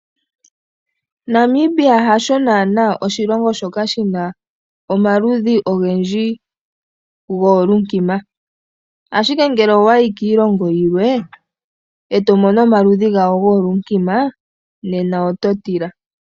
Namibia hasho naana oshilongo shoka shina omaludhi ogendji goolunkima, ashike ngele owayi kiilongo yilwe, eto mono omaludhi gayo goolunkima ,nena oto tila.